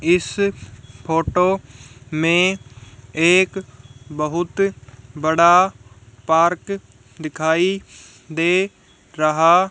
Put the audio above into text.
इस फोटो में एक बहुत बड़ा पार्क दिखाई दे रहा--